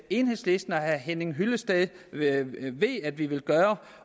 enhedslisten og herre henning hyllested ved at ved at vi vil gøre